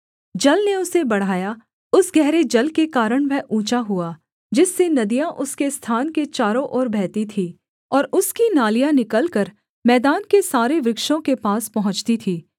जल ने उसे बढ़ाया उस गहरे जल के कारण वह ऊँचा हुआ जिससे नदियाँ उसके स्थान के चारों ओर बहती थीं और उसकी नालियाँ निकलकर मैदान के सारे वृक्षों के पास पहुँचती थीं